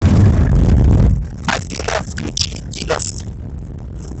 афина включи династ